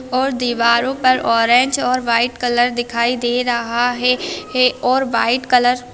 और दीवारों पर ऑरेंज और व्हाइट कलर दिखाई दे रहा है और व्हाइट कलर